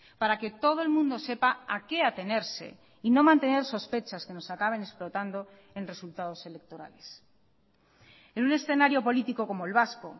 para que todo el mundo sepa a qué atenerse y no mantener sospechas que nos acaben explotando en resultados electorales en un escenario político como el vasco